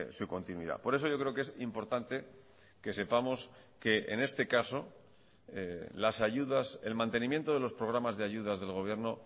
su continuidad por eso yo creo que es importante que sepamos que en este caso las ayudas el mantenimiento de los programas de ayudas del gobierno